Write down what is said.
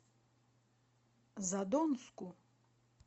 задонску